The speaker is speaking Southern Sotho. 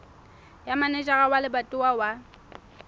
ya manejara wa lebatowa wa